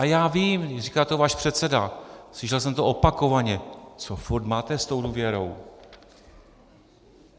A já vím, říká to váš předseda, slyšel jsem to opakovaně: Co furt máte s tou důvěrou?